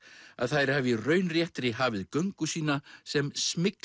að þær hafi í raun réttri hafið göngu sína sem